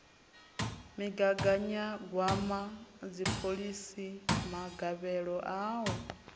migaganyagwama dziphoḽisi magavhelo a u